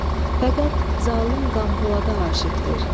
Fəqət zalım Qampolada aşiqdir.